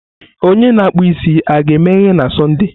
Akpụ isi a ga-emeghe na Sọnde?